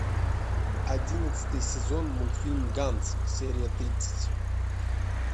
одиннадцатый сезон мультфильм ганц серия тридцать